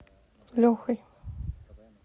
лехой